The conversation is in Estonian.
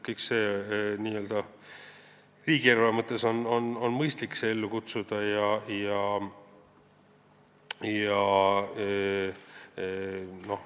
Kõik see on n-ö riigieelarve mõttes mõistlik ellu kutsuda.